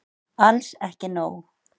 Alls ekki nóg.